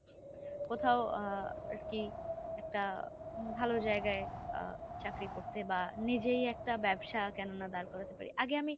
কোথাও আ আরকি একটা ভালো জায়গায় আ চাকরি করতে বা নিজেই একটা ব্যবসা কেননা দাঁড় করাতে পারি আগে আমি।